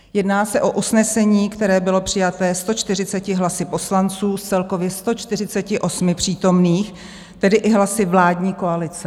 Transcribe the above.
Jedná se o usnesení, které bylo přijaté 140 hlasy poslanců z celkově 148 přítomných, tedy i hlasy vládní koalice.